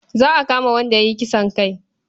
Za a kama wanda ya yi kisan kai.